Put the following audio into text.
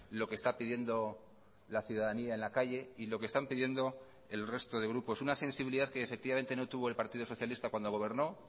lo que está pidiendo la ciudadanía en la calle y lo que están pidiendo el resto de grupos una sensibilidad que efectivamente no tuvo el partido socialista cuando gobernó